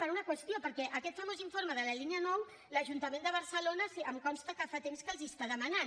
per una qüestió perquè aquest famós informe de la línia nou l’ajuntament de barcelona em consta que fa temps que els el demana